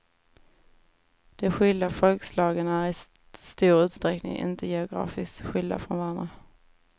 De skilda folkslagen är i stor usträckning inte geografiskt skilda från varandra.